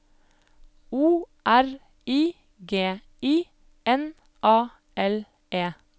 O R I G I N A L E